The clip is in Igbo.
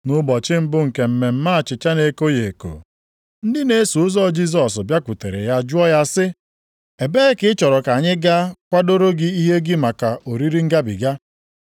Nʼụbọchị mbụ nke mmemme achịcha na-ekoghị eko, ndị na-eso ụzọ Jisọs bịakwutere ya jụọ ya sị, “Ebee ka ị chọrọ ka anyị gaa kwadoro gị ihe gị maka oriri Ngabiga?”